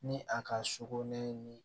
Ni a ka sogo nɛ